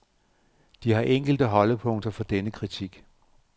De har enkelte holdepunkter for denne kritik.